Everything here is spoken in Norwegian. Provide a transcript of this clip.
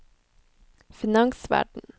finansverden